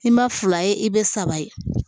I ma fila ye i bɛ saba ye